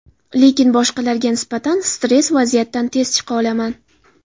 Lekin boshqalarga nisbatan stress vaziyatdan tez chiqa olaman.